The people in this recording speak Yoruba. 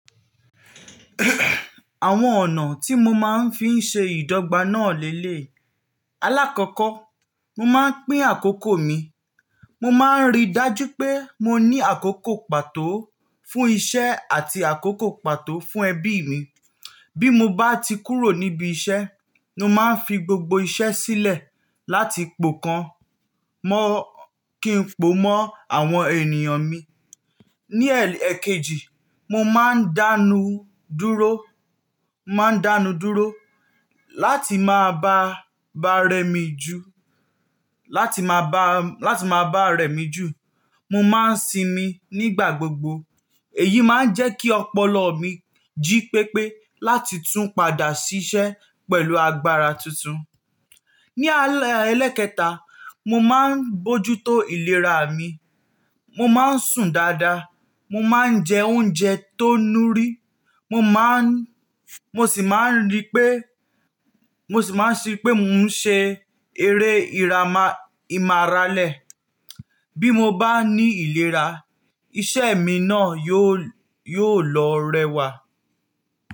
Àwọn ọ̀nà tí mo máa ń fi ṣe ìdọ́gba náà lélèyii. Alákọ̀ọ́kọ́, mo máa ń pín àkókò mi. Mo máa ń rí i dájú pé mo ní àkókò pàtó fún iṣẹ́ àti àkókò pàtó fún ẹbí mi. Bí mo bá ti kúrò níbi iṣẹ́, mo máa ń fi gbogbo iṣẹ́ sílẹ̀ láti pò kàn mọ́ kí n pò mọ́ àwọn ènìyàn mi. Ni ẹ-ẹkejì, mo máa ń dánu dúró, mo máa ń dánu dúró láti máa ba, bá rẹ mí jù, láti máa ba, láti máa bá rẹ mí jù. Mo máa ń sinmi nígbà gbogbo. Èyí máa ń jẹ́ kí ọpọlọ mi jí pépé láti tún padà ṣiṣẹ́ pẹ̀lú agbára tuntun. Ni alẹ́ ẹlẹ́ẹ̀kẹta, mo máa ń bójútó ìlera mi. Mo máa ń sùn dáadáa, mo máa ń jẹ oúnjẹ tó nuri, mo máa ń, mo sì máa ń rí pé, mo sì máa ń ṣi pé mo ń ṣe eré ìrama, ìmáralẹ̀. Bí mo bá ní ìlera, iṣẹ́ mi náà yóò, yóò lọ rẹwà.